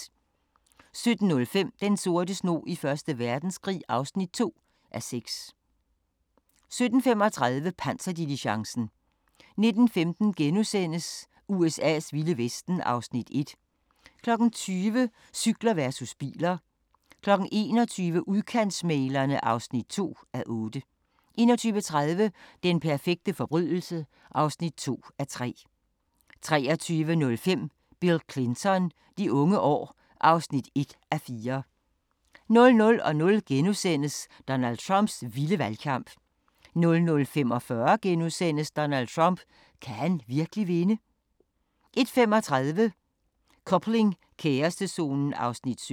17:05: Den sorte snog i 1. Verdenskrig (2:6) 17:35: Panserdiligencen 19:15: USA's vilde vesten (1:8)* 20:00: Cykler versus biler 21:00: Udkantsmæglerne (2:8) 21:30: Den perfekte forbrydelse (2:3) 23:05: Bill Clinton: De unge år (1:4) 00:00: Donald Trumps vilde valgkamp * 00:45: Donald Trump – kan han virkelig vinde? * 01:35: Coupling – kærestezonen (17:28)